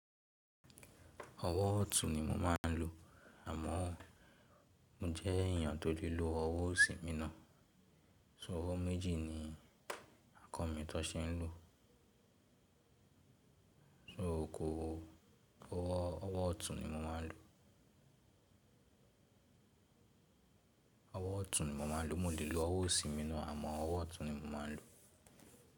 Ọwọ́ ọ̀tún ni mo máa ń lo. Àmọ́ mo jẹ́ èèyàn tó le lo ọwọ́ òsí mi nà. So ọwọ́ méjì ni kọ́ mi tọ́n ṣe ń lò? So kò owó ọwọ́ ọ̀tún ni mo máa ń lo? Ọwọ́ ọ̀tún ni mo máa ń lo. Mo lè lo ọwọ́ sínmíná àmọ́ ọwọ́ ọ̀tún ni mo máa ń lo.